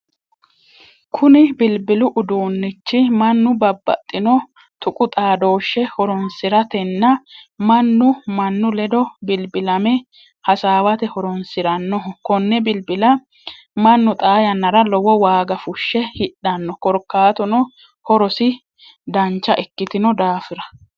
Kunni bilbilu uduunnichi mannu babbaxino tuqu xaadooshe horoonsiratenna Manu manu ledo bilbilame hasaawate horoonsiranoho konne bilbila mannu xaa yannara lowo waaga fushe hidhano korkaatuno horosi dancha ikitino daafira.